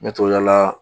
Ɲɛtaala